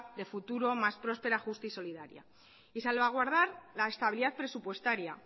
de futuro más próspera justa y solidaria y salvaguardar la estabilidad presupuestaria